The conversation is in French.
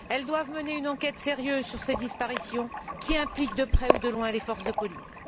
Elles doivent mener une enquête sérieuse sur cette disparition qui implique, de près ou de loin, les forces de police.